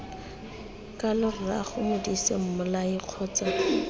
kalo rraago modise mmolai kgotsa